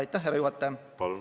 Aitäh, härra juhataja!